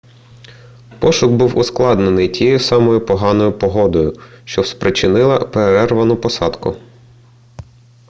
пошук був ускладнений тією самою поганою погодою що спричинила перервану посадку